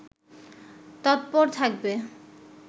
তৎপর থাকবে